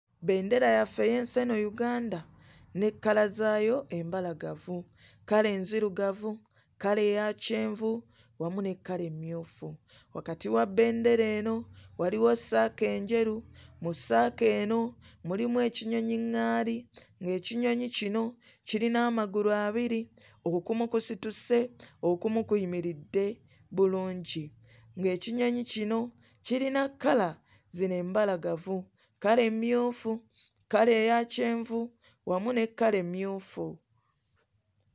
Bbendera yaffe ey'ensi eno Uganda ne kkala zaayo embalagavu kkala enzirugavu, kkala eya kyenvu, wamu ne kkala emmyufu. Wakati wa bbendera eno waliwo ssaako enjeru, mu ssaako eno mulimu ekinyonyi ŋŋaali ng'ekinyonyi kino kirina amagulu abiri okumu kusituse okumu kuyimiridde bulungi. Ng'ekinyonyi kino kirina kkala zino embalagavu kkala emmyufu, kkala eya kyenvu wamu ne kkala emmyufu.